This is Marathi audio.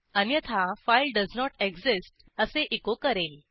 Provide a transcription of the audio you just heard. अन्यथा फाइल डोएस नोट एक्सिस्ट असे एचो करेल